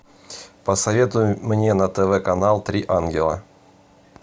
посоветуй мне на тв канал три ангела